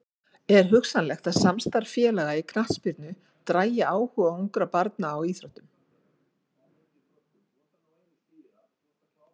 Er hugsanlegt að samstarf félaga í knattspyrnu dragi áhuga ungra barna á íþróttinni?